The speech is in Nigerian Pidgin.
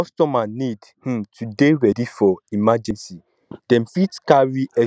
customer need um to dey ready for emergency dem fit carry extra um money